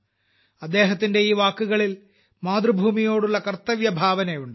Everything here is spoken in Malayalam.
അദ്ദേഹത്തിന്റെ ഈ വാക്കുകളിൽ മാതൃഭൂമിയോടുള്ള കർത്തവ്യഭാവനയുണ്ട്